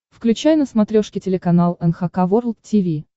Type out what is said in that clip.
включай на смотрешке телеканал эн эйч кей волд ти ви